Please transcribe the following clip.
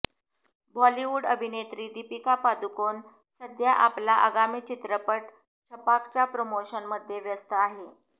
बॉलिवूड अभिनेत्री दीपिका पदुकोण सध्या आपला आगामी चित्रपट छपाकच्या प्रमोशनमध्ये व्यस्त आहे